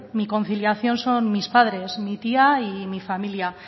mi conciliación son mis padres mi tía y mi familia